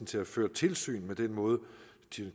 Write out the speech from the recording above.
til at føre tilsyn med den måde